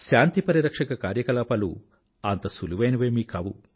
శాంతి పరిరక్షక కార్యకలాపాలు అంత సులువైనవేమీ కావు